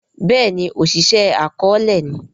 béèni Oṣiṣẹ akọọlẹ ni